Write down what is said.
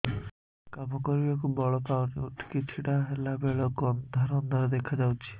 କାମ କରିବାକୁ ବଳ ପାଉନି ଉଠିକି ଛିଡା ହେଲା ବେଳକୁ ଅନ୍ଧାର ଅନ୍ଧାର ଦେଖା ଯାଉଛି